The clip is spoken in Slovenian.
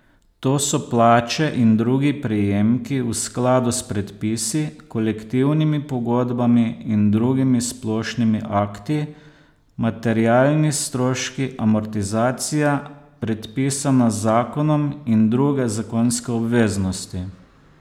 To so plače in drugi prejemki v skladu s predpisi, kolektivnimi pogodbami in drugimi splošnimi akti, materialni stroški, amortizacija, predpisana z zakonom, in druge zakonske obveznosti.